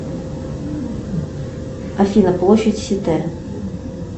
афина площадь сите